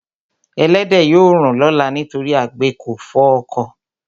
Ẹlẹ́dẹ̀ yóò rùn lọ́la nítorí àgbẹ̀ kò fọ oko.